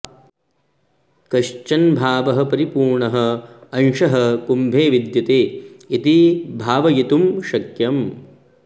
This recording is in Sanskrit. कश्चन भावः परिपूर्णः अंशः कुम्भे विद्यते इति भावयितुं शक्यम्